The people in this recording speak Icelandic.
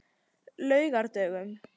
laugardögunum